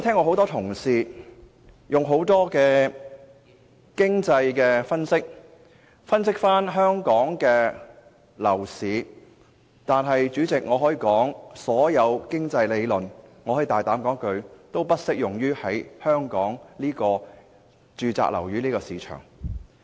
很多同事曾嘗試利用各種經濟理論來分析香港的樓市，但我可以大膽說一句，所有經濟理論均不適用於香港的住宅物業市場。